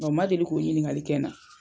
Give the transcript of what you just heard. O ma deli k'u ɲininkali kɛ na.